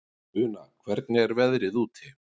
Una, hvernig er veðrið úti?